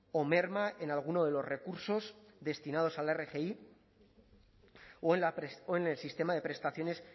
o merma en alguno de los recursos destinados a la rgi o en el sistema de prestaciones